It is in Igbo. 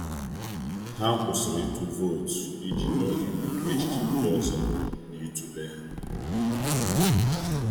Ha kwụsịrị ịtụ vootu iji nye oge maka echiche ndị ọzọ na ịtụle ha.